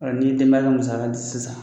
Ɔ ,i denbaya bɛ musaka di sisan.